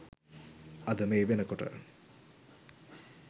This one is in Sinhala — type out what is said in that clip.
අද මේ වෙනකොට